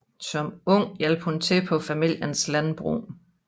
Som ung hjalp hun til på familiens landbrug